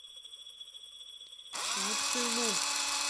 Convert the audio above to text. вуктылу